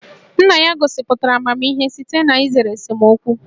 Nna ya gosipụtara amamihe site n'izere esemokwu